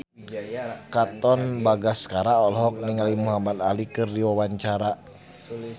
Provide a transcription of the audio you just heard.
Katon Bagaskara olohok ningali Muhamad Ali keur diwawancara